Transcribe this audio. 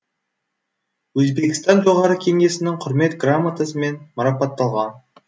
өзбекстан жоғары кеңесінің құрмет грамотасымен марапатталған